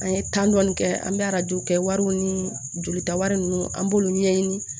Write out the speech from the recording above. An ye dɔɔni kɛ an bɛ arajow kɛ wariw ni jolita wari ninnu an b'olu ɲɛɲini